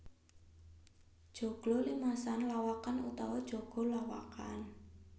Joglo limasan lawakan utawa joglo lawakan